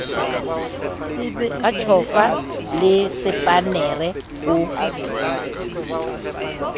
ka tjhofa le sepannere ho